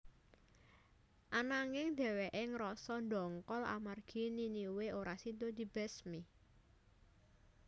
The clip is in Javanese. Ananging dhèwèké ngrasa ndongkol amarga Niniwe ora sida dibesmi